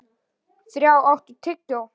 Þrá, áttu tyggjó?